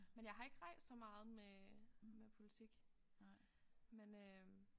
Men jeg har ikke rejst så meget med med politik men øh